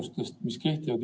Lugupeetud minister!